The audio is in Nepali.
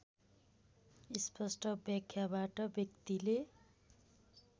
स्पष्ट व्याख्याबाट व्यक्तिले